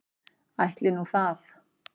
Ætli nú það.